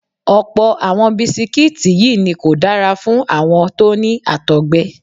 Ọ̀pọ̀ àwọn bisikítì yí ni kò dára fún àwọn tó ní Àtọ̀gbẹ.